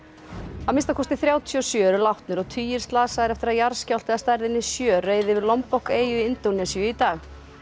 að minnsta kosti þrjátíu og sjö eru látnir og tugir slasaðir eftir að jarðskjálfti að stærðinni sjö reið yfir eyju í Indónesíu í dag